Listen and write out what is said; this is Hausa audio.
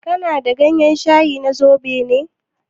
Kana da gayen shayi na zobo ne?